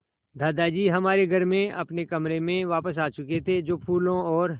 दादाजी हमारे घर में अपने कमरे में वापस आ चुके थे जो फूलों और